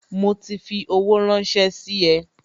Mo ti fi owó ranse sí e